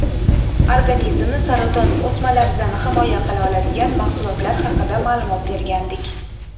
organizmni saraton o‘smalaridan himoya qila oladigan mahsulotlar haqida ma’lumot bergandik.